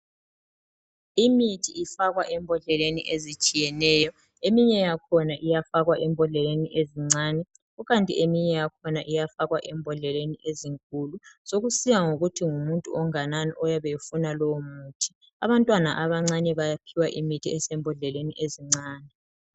Imithi ifakwa embhodleleni ezitshiyeneyo iminye yakhona iyafakwa embhodleleni ezincane kukanti eminye yakhona iyafakwa embodleleni ezinkulu sekusiya ngokuthi ngumuntu onganani oyabe efuna lowomuthi, abantwana abancane bayaphiwa imithi esembhodleleni ezincane.